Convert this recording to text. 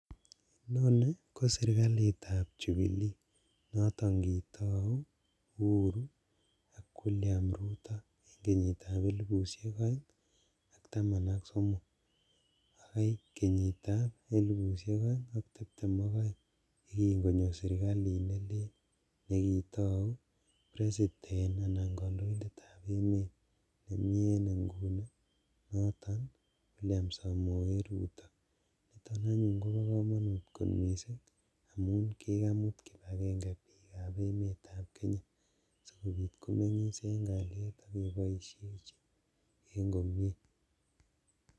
Inoni ko sirkalitab Jubilee noton kitou Uhuru ak William Ruto en kenyitab elipushek oeng ak taman ak somok bakai kenyitab elipushek oeng ak tiptem ok oeng ak kongonyo sirkalit nelel nekitou president anan kondoindetab emet nemi en inguni noton William Samoe Ruto, niton anyuun kobo komonut kot missing' amun kikamut kipagenge bikab emetab Kenya sikobit komengis en kaliet ak keboisheji en komie.